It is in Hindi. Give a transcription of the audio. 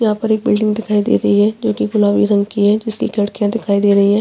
यहाँ पे एक बिल्डिंग दिखाई दे रही है जो की गुलाबी रंग की हैं जिसकी खिड़किया दिखाई दे रही हैं।